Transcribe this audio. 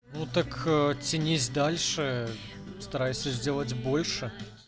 ну так тянись дальше старайся сделать больше